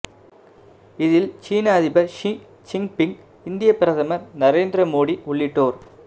இதில் சீன அதிபர் ஷீ ஜிங்பிங் இந்தியப் பிரதமர் நரேந்திர மோடி உள்ளிட்டோர்